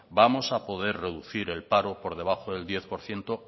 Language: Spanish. vamos a poder reducir el paro por debajo del diez por ciento